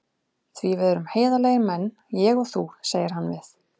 Því við erum heiðarlegir menn, ég og þú, segir hann við